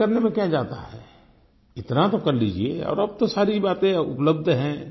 check करने में क्या जाता है इतना तो कर लीजिये और अब तो सारी बातें उपलब्ध हैं